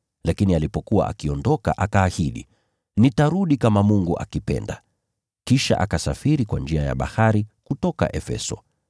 Lakini alipokuwa akiondoka, akaahidi, “Nitarudi kama Mungu akipenda.” Kisha akasafiri kwa njia ya bahari kutoka Efeso.